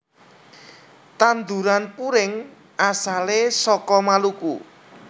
Tanduran puring asale saka Maluku